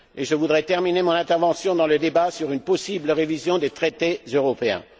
Je voudrais terminer mon intervention dans le débat sur une possible révision des traités européens.